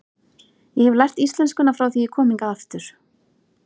Ég hef lært íslenskuna frá því ég kom hingað aftur.